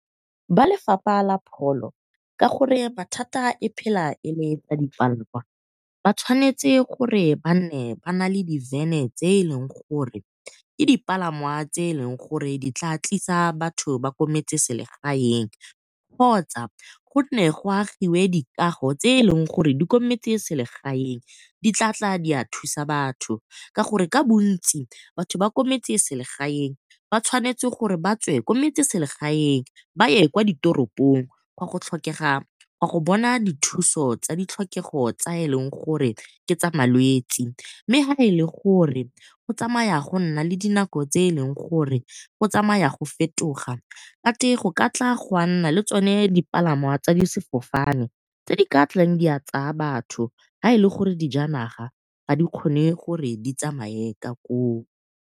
Ba lefapha la pholo ka gore mathata e phela e le tsa dipalangwa ba tshwanetse gore ba nne ba nale di van-e tse e leng gore ke di palangwa tse e leng gore di tla tlisa batho ba ko metseselegaeng, kgotsa go nne go agiwe dikago tse e leng gore di ko metseselegaeng di tla tla di a thusa batho. Ka gore ka bontsi batho kwa metseselegaeng ba tshwanetse gore ba tswe kwa motseselegaeng ba ye kwa ditoropong gwa go bona dithuso tsa ditlhokego tse e leng gore ke tsa malwetsi. Mme ha e le gore go tsamaya go nna le di nako tse e leng gore go tsamaya go fetoga, go kate go ka tloga ga nna le tsone dipalangwa tsa difofane tse di ka tlang di a tsaya batho ha e le gore dijanaga ha di kgone gore ditsamaye ka koo.